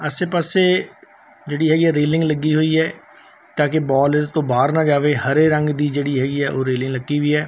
ਆਸੇ ਪਾਸੇ ਜਿਹੜੀ ਹੈਗੀ ਐ ਰੇਲਿੰਗ ਲੱਗੀ ਹੋਈ ਐ ਤਾਂ ਕਿ ਬਾਲ ਇਸ ਤੋਂ ਬਾਹਰ ਨਾ ਜਾਵੇ ਹਰੇ ਰੰਗ ਦੀ ਜਿਹੜੀ ਹੈਗੀ ਐ ਉਹ ਰੇਲਿੰਗ ਲੱਗੀ ਹੋਈ ਐ।